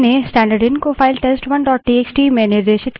अतः command test1 से reads पढ़ती करती है